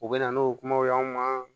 U bɛ na n'o kumaw ye aw ma